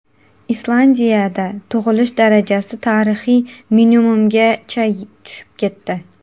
Islandiyada tug‘ilish darajasi tarixiy minimumgacha tushib ketdi.